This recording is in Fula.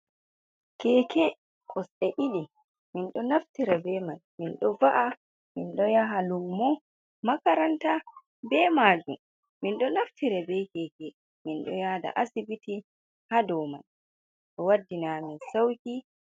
Keke kosɗe ɗiɗi minɗo naftire be man min ɗo va’a, min ɗo yaha lumo, makaranta be majum min ɗo naftira be keke min ɗo yada asbiti ha dow man. Ɗo waddina amin sauki.